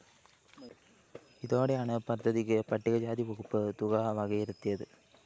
ഇതോടെയാണ് പദ്ധതിക്ക് പട്ടിക ജാതി വകുപ്പ് തുക വകയിരുത്തിയത്